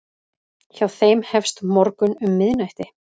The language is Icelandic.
Hjá þeim hefst morgunn um miðnætti.